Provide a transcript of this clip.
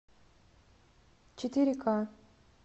четыре ка